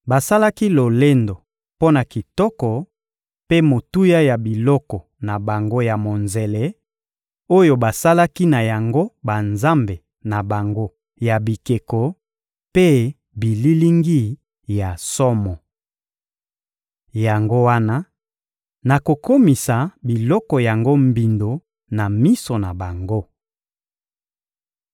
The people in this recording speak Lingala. Basalaki lolendo mpo na kitoko mpe motuya ya biloko na bango ya monzele oyo basalaki na yango banzambe na bango ya bikeko mpe bililingi ya somo. Yango wana, nakokomisa biloko yango mbindo na miso na bango.